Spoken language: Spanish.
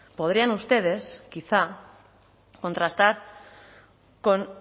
podrían ustedes quizá contrastar con